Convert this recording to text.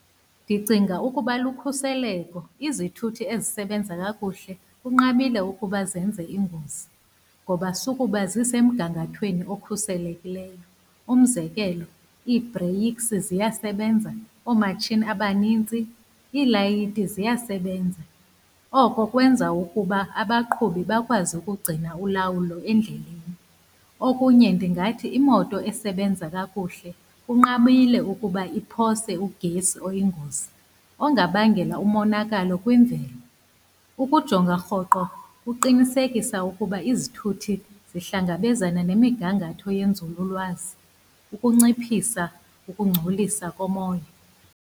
Ndicinga ukuba lukhuseleko. Izithuthi ezisebenza kakuhle kunqabile ukuba zenze ingozi ngoba sukuba zisemgangathweni okhuselekileyo. Umzekelo, ii-breaks ziyasebenza, oomatshini abanintsi, iilayithi ziyasebenza, oko kwenza ukuba abaqhubi bakwazi ukugcina ulawulo endleleni. Okunye ndingathi imoto esebenza kakuhle kunqabile ukuba iphose ugesi oyingozi ongabangela umonakalo kwimveli. Ukujonga rhoqo kuqinisekisa ukuba izithuthi zihlangabezana nemigangatho yenzululwazi ukunciphisa ukungcolisa komoya.